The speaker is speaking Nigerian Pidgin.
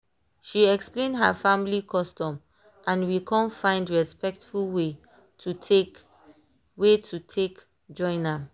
she explain her family custom and we con find respectful way to take way to take join am.